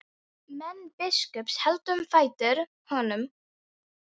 Menn biskups héldu um fætur honum.